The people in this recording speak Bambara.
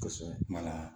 Kosɛbɛ kuma na